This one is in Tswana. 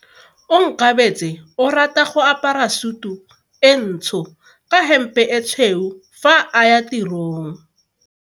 Onkabetse o rata go apara sutu e ntsho ka hempe e tshweu fa a ya tirong.